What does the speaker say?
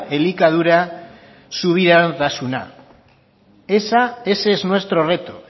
elikadura subiranotasuna ese es nuestro reto